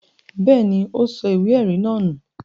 Bẹ́ẹ̀ ni, ó sọ ìwé-ẹ̀rí náà nù.